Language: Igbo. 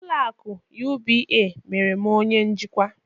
Ụlọ akụ UBA mere m onye njikwa